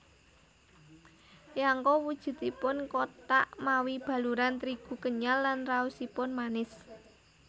Yangko wujudipun kothak mawi baluran trigu kenyal lan raosipun manis